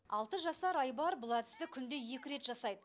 алты жасар айбар бұл әдісті күнде екі рет жасайды